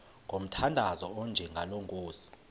ngomthandazo onjengalo nkosi